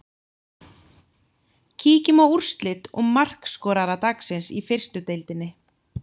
Kíkjum á úrslit og markaskorara dagsins í fyrstu deildinni.